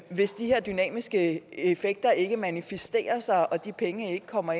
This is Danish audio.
hvis de her dynamiske effekter ikke manifesterer sig og de penge ikke kommer